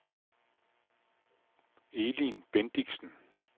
Elin Bendixen